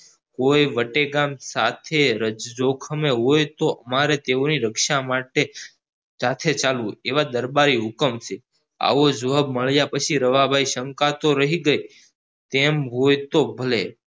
કોઈ બટેકા સાથે જોખમે હોય તો અમરે તેઓની રક્ષા માટે સાથે ચાલવું એવો દરબારી હુકમ છે આવો જવાબ મળ્યા પસી રવા ભાઈ શંકા તો રહી ગયી તેમ હોય તો ભલે